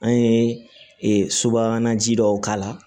An ye subahana ji dɔw k'a la